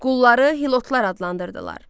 Qulları hilotlar adlandırdılar.